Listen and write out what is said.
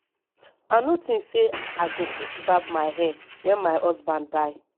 i no think say i go fit barb my hair wen my husband die